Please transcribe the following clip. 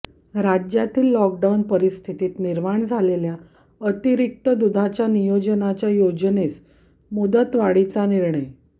राज्यातील लॉकडाऊन परिस्थितीत निर्माण झालेल्या अतिरिक्त दूधाच्या नियोजनाच्या योजनेस मुदतवाढीचा निर्णय